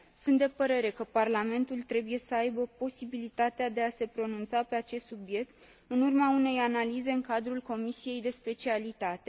Sunt de părere că Parlamentul trebuie să aibă posibilitatea de a se pronunța pe acest subiect, în urma unei analize în cadrul comisiei de specialitate.